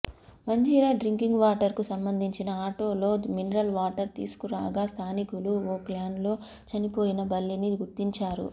మంజీర drinking వాటర్కు సంబంధించిన ఆటోలో మినరల్ వాటర్ తీసుకురాగా స్థానికులు ఓ క్యాన్లో చనిపోయిన బల్లిని గుర్తించారు